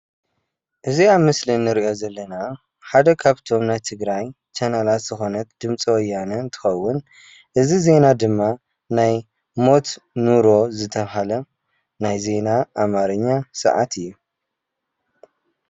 እዚ ኣብ ምስሊ እንሪኦ ዘለና ሓደ ካብቶም ናይ ትግራይ ቻናላት ዝኾነት ድምፂ ወያነ እንትኸውን እዚ ዜና ድማ ናይ ሞት ኑሮ ዝተባሃለ ናይ ዜና ኣማርኛ ሰዓት እዩ፡፡